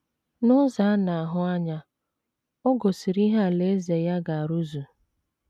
N’ụzọ a na - ahụ anya, o gosiri ihe Alaeze ya ga - arụzu.